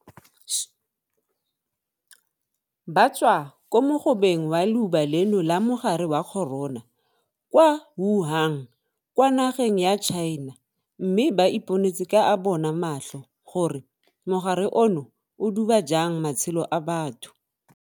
Ba tswa ko mogobeng wa leuba leno la mogare wa corona kwa Wuhan kwa nageng ya China mme ba iponetse ka a bona matlho gore mogare ono o duba jang matshelo a batho.